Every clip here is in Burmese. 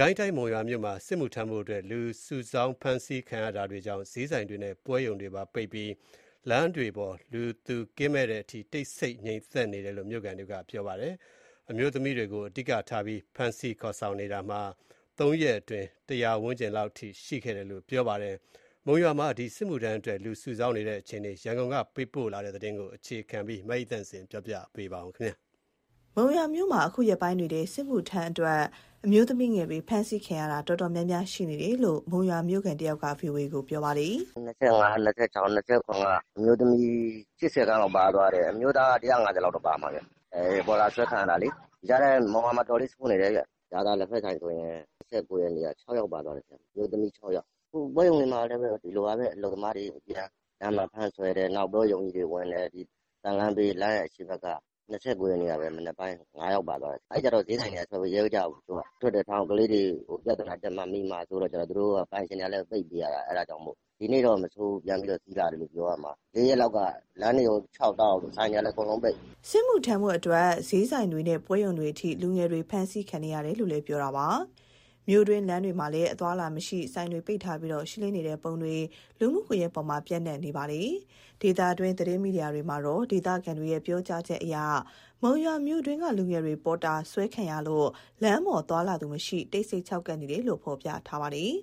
ကိုင်းတိုင်း၊ မုံရွာမြို့မှာ စစ်မှုထမ်းဖို့အတွက် လူစုဆောင်း ဖမ်းဆီးခံရတာတွေကြောင့် စျေးဆိုင်တွေနဲ့ ပွဲရုံတွေပိတ်ပြီး လမ်းတွေပေါ် လူသူကင်းမဲ့တဲ့အထိ တိတ်ဆိတ်နေတယ်လို့ မြို့ခံတွေက ပြောပါတယ်။ အမျိုးသမီးတွေကိုအဓိကထား ဖမ်းဆီးခေါ်ဆောင်နေပြီး သုံးရက်အတွင်းမှာ ၁၀၀ ဝန်းကျင်လောက် ရှိခဲ့တယ်လို့ ပြောပါတယ်။ မုံရွာမြို့မှာ စစ်မှုထမ်းအတွက် လူစုဆောင်းနေတဲ့အခြေအနေ ရန်ကုန်ကနေ သတင်းပေးပို့ထားပါတယ်။ မုံရွာမြို့မှာ အခုရက်ပိုင်းတွေထဲ စစ်မှုထမ်းအတွက် အမျိုးသမီးငယ်တွေ ဖမ်းဆီးခံရတာ တော်တော်များများ ရှိနေတယ်လို့ မုံရွာမြို့ခံတဦးက ဗွီအိုအေကိုပြောပါတယ်။ "ဒီ ၂၅၊ ၂၆၊ ၂၇ က အမျိုးသမီး ၈၀ ခန့်လောက်ပါသွားတယ်။ အမျိုးသားက ၁၅၀ လောက်ပါတယ်ဗျ။ ပေါ်တာဆွဲခံရတာ ပိုဆိုးလာတယ်၊ မုံရွာတမြို့နယ်လုံး။ ရာဇာလက်ဖက်ဆိုင်ဆိုရင် ၂၉ ရက်နေ့က အမျိုးသမီး ၆ ယောက်ပါသွားတယ်။ အခုပွဲရုံတွေမှာလည်း အလုပ်သမားတွေအပြန် လမ်းမှာဖမ်းဆွဲ တယ်။ နောက် ပွဲရုံကြီးတွေဝင်တယ်။ သံလမ်းဘေး လမ်းအရှေ့ဘက်မှာ ၂၉ ရက်နေ့ကပဲ မနက်ပိုင်း ၅ ယောက်ပါသွားတယ်။ အဲကျတော့ စျေးဆိုင်တွေက မထွက်ရဲကြဘူး။ သူတို့ကထွက်တယ်ထားဦး၊ ကလေးတွေ ပြဿနာတက်မှာ၊ မိမှာစိုးတော့ သူတို့ကလည်း ပိတ်ပေးရတာ။ ဒီနေ့တော့ ပြန်ပြီးတော့ စည်လာတယ်ပြောရမှာ။ ပြီးခဲ့တဲ့ ၄ ရက်လောက်က လမ်းတွေလည်းခြောက်ကပ်၊ ဆိုင်တွေကလည်း အကုန်လုံးပိတ်။" စစ်မှုထမ်းအတွက် စျေးဆိုင်တွေနဲ့ ပွဲရုံတွေအထိ လူငယ်တွေဖမ်းဆီးခံနေရတာလို့ ပြောပါတယ်။ မြို့တွင်းလမ်းတွေမှာလည်း အသွားအလာမရှိ ဆိုင်တွေပိတ်ထားပြီး ရှင်းလင်းနေတဲ့ပုံတွေ လူမှုကွန်ရက်ပေါ်မှာ ပျံ့နှံ့နေပါတယ်။ ဒေသတွင်းမီဒီယာတွေမှာတော့ ဒေသခံတွေရဲ့ ပြောကြားချက်အရ မုံရွာမြို့တွင်း လူငယ်တွေပေါ်တာဆွဲခံရလို့ လမ်းပေါ်သွားလာသူမရှိ တိတ်ဆိတ် ခြောက်ကပ်နေတယ်လို့ ဖော်ပြထားကြပါတယ်။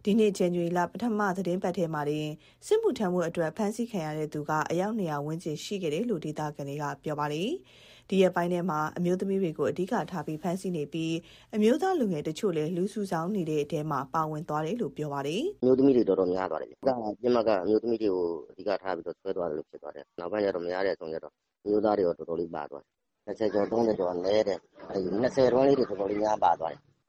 အခုနှစ် ဇန်နဝါရီလ ပထမပတ်ထဲမှာတင် စစ်မှုထမ်းအတွက် ဖမ်းဆီးခံရသူပေါင်းက ၂၀၀ ဝန်းကျင်မှာ ရှိခဲ့တယ်လို့ ဒေသခံတွေက ပြောပါတယ်။ ဒီရက်ထဲမှာတော့ အမျိုးသမီးတွေကို အဓိကထား ဖမ်းဆီး နေပြီး အမျိုးသားလူငယ်တချို့လည်း လူစုဆောင်းနေတဲ့အထဲ ပါဝင်သွားတယ်လို့ ပြောပါတယ်။ "အမျိုးသမီးတွေ တော်တော်များတယ်ဗျ။ အဓိကပစ်မှတ်က အမျိုးသမီးတွေကို ဆွဲသွားတာများတယ်။ နောက်ပိုင်းမရတဲ့အဆုံး အမျိုးသားတွေလည်း ပါသွားတယ်။ ၂၀ ကျော် - ၃၀ ကျော်က နည်းတယ်။ ၁၅ ကနေ ၂၀ အတွင်းလေးတွေ တော်တော်များများ ပါသွားတယ်။ မ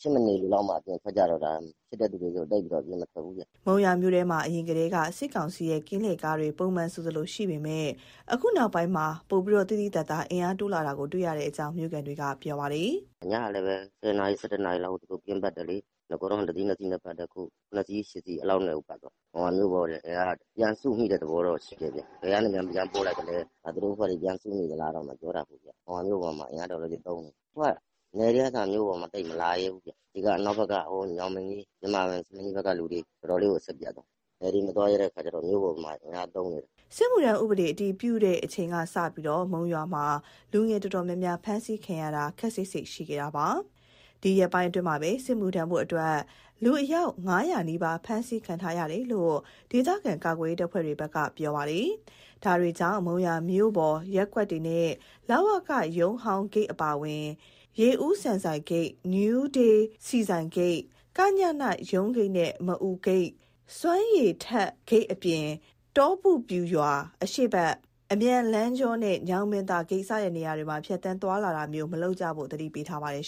ဖြစ်မနေမှ အပြင်ထွက်ကြတော့တာ။ မဖြစ်မနေ မဟုတ်ရင် သိပ်ပြီးတော့မထွက်ကြဘူး။" မုံရွာမြို့ထဲမှာ အရင်ကတည်းက စစ်ကောင်စီရဲ့ ကင်းလှည့်ကားတွေ ပုံမှန်ဆိုသလိုရှိပေမယ့် အခု နောက်ပိုင်းမှာတော့ သိသိသာသာ အင်အားတိုးလာတာကို တွေ့ရတယ်လို့ မြို့ခံတွေက ပြောပါတယ်။ "ညကလည်းပဲ ၁၀ နာရီ၊ ၁၁ နာရီလောက်ကို သူတို့ကင်းပတ်တယ်လေ။ နဂိုတုန်းက တစီး၊ နှစ်စီးနဲ့ ပတ်တယ်။ အခု ၇ စီး၊ ၈ စီး လောက်နဲ့ကိုပတ်တာ။ မုံရွာမြို့ပေါ်တင် အင်အားက ပြန်စုမိတဲ့သဘော တော့ ရှိတယ်ဗျ။ ဘယ်ကနေများ ပြန်ပို့လိုက်သလဲ၊ သူတို့အဖွဲ့တွေ ပြန်စုနေသလားတော့ မပြောတတ် ဘူးဗျ။ မုံရွာမြို့ပေါ်မှာတော့ အင်အားတော်တော်လေး သုံးနေတယ်။ အခုက နယ်တွေကအစ မြို့ပေါ်မှာ သိပ်မလာရဲဘူးဗျ။ ညောင်ပင်ကြီး၊ ယင်းမာပင်၊ ဆားလင်းကြီးဘက်ကလူတွေ တော်တော်လေးကို အဆက်ပြတ်သွားတယ်။ သူတို့ကလည်း နယ်တွေမသွားရဲတဲ့အခါကျ မြို့ပေါ်မှာ အင်အားသုံးနေတယ်။" စစ်မှုထမ်းဥပဒေ အတည်ပြုပြုချိန်ကစလို့ မုံရွာမှာ လူငယ်တော်တော်များများ ဖမ်းဆီးခေါ်ဆောင်ခံ ရတာတွေ ခပ်စိပ်စိပ်ရှိခဲ့တာပါ။ ဒီရက်ပိုင်းအတွင်းမှာတင် စစ်မှုထမ်းအတွက် အယောက် ၅၀၀ နီးပါး ဖမ်းခံထားရတယ်လို့ ဒေသခံ ကာကွယ်ရေး တပ်ဖွဲ့တွေကလည်း ပြောထားပါတယ်။ ဒါတွေကြောင့် မုံရွာမြို့ပေါ်ရက်ကွက်တွေနဲ့ လဝကရုံးဟောင်းဂိတ်အပါအဝင် ရေဦးဆန်ဆိုင်ဂိတ်၊ နယူးဒေးဆီဆိုင်ဂိတ်၊ က.ည.န ရုံးဂိတ်နဲ့ မအူဂိတ်၊ စွမ်းရည်ထက်ဂိတ်အပြင် တောပုပျူရွာအရှေ့ဘက် အမြန်လမ်းကြောနဲ့ ညောင်ပင်သာဂိတ် စတဲ့ နေရာတွေမှာ ဖြတ်သန်းသွားလာတာမျိုး မလုပ်ကြဖို့ သတိပေးထားပါတယ်